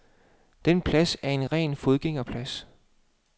Denne plads er en ren fodgængerplads.